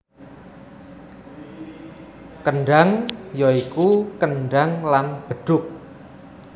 Kendhang ya iku kendhang lan bedhug